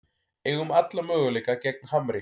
Eigum alla möguleika gegn Hamri